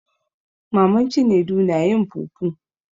Maman cinedu na yin fufu.